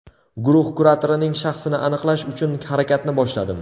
Guruh kuratorining shaxsini aniqlash uchun harakatni boshladim.